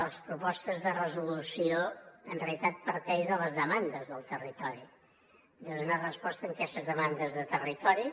les propostes de resolució en realitat parteixen de les demandes del territori de donar resposta a aquestes demandes del territori